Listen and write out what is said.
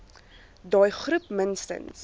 daai groep minstens